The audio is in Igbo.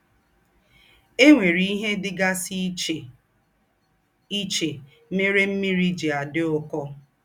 È nwèrè íhe dị̀gàsì íchè íchè mère ḿmị́rì jí àdí ụ́kọ́.